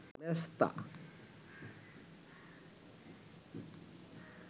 মেছতা